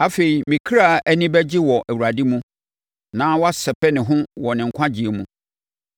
Afei me kra ani bɛgye wɔ Awurade mu na wasɛpɛ ne ho wɔ ne nkwagyeɛ mu.